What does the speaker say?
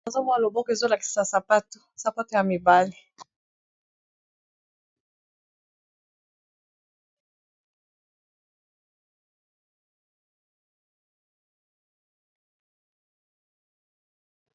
Awa namoni balakisi biso loboko esimbibi sapato sapato oyo eza ya mibali eza nalangi yapembe nalangi ya mai yapondu